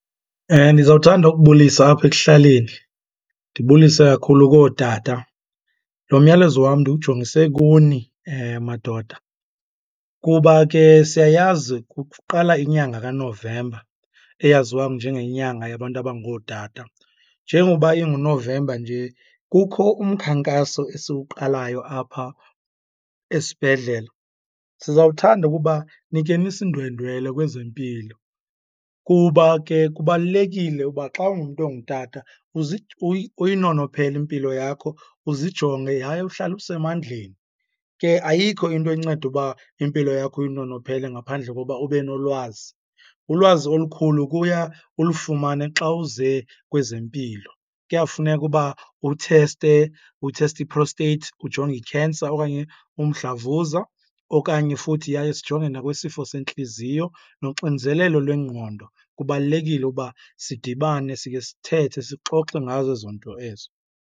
Ndizawuthanda ukubulisa apha ekuhlaleni, ndibulisa kakhulu kootata. Lo myalezo wam ndiwujongise kuni madoda kuba ke siyayazi kuqala inyanga kaNovemba eyaziwa njengenyanga yabantu abangootata. Njengoba inguNovemba nje kukho umkhankaso esiwuqalayo apha esibhedlela, sizawuthanda ukuba nikhe nisindwendwele kwezempilo kuba ke kubalulekile uba xa ungumntu ongutata uyinonophele impilo yakho, uzijonge yaye uhlale usemandleni. Ke ayikho into enceda uba impilo yakho uyinonophele ngaphandle kokuba ube nolwazi. Ulwazi olukhulu kuya ulufumane xa uze kwezempilo. Kuyafuneka uba utheste, utheste i-prostate, ujonge i-cancer okanye umdlavuza, okanye futhi yaye sijonge nakwisifo sentliziyo nonxinzelelo lwengqondo. Kubalulekile ukuba sidibane sikhe sithethe sixoxe ngazo ezo nto ezo.